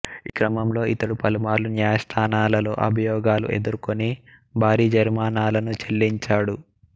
ఈ క్రమంలో ఇతడు పలుమార్లు న్యాయస్థానాలలో అభియోగాలను ఎదుర్కొని భారీ జరిమానాలను చెల్లించాడు